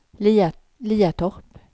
Liatorp